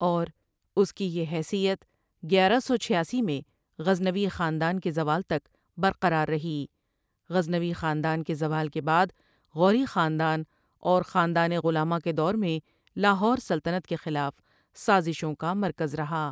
اور اس کی یہ حیثیت گیارہ سو چھیاسی میں غزنوی خاندان کے زوال تک برقرار رہی غزنوی خاندان کے زوال کے بعد غوری خاندان اور خاندان غلاماں کے دور میں لاہور سلطنت کے خلاف سازشوں کا مرکز رہا۔